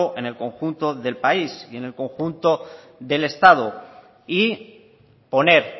en el conjunto del país y en el conjunto del estado y poner